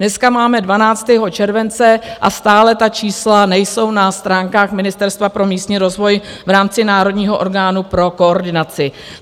Dneska máme 12. července a stále ta čísla nejsou na stránkách Ministerstva pro místní rozvoj v rámci národního orgánu pro koordinaci.